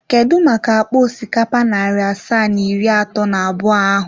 Kedu maka akpa osikapa narị asaa na iri atọ na abụọ ahụ?